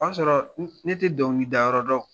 O y'a sɔrɔ n ne tɛ dɔnkili da yɔrɔ dɔn